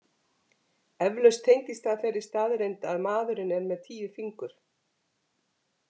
Eflaust tengist það þeirri staðreynd að maðurinn er með tíu fingur.